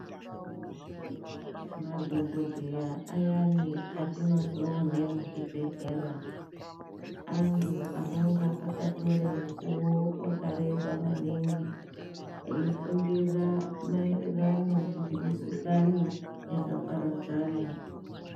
Madhokodheya ayani atinozoone muzvibhedhlera anthu anonga akatora mukuwo wakareba maningi eifundira maererano ngemikuhlani yakaparadzana.